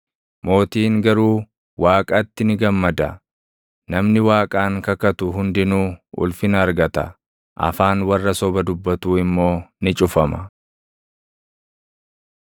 Mootiin garuu Waaqaatti ni gammada; namni Waaqaan kakatu hundinuu ulfina argata; afaan warra soba dubbatuu immoo ni cufama.